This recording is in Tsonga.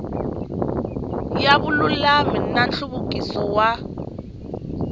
ya vululami na nhluvukiso wa